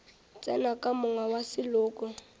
tsena ka monga wa seloko